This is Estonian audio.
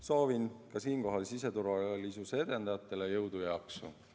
Soovin siinkohal siseturvalisuse edendajatele jõudu ja jaksu!